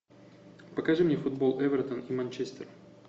покажи мне футбол эвертон и манчестер